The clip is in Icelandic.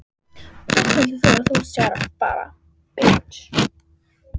Hvert heldur þú að þú sért að fara?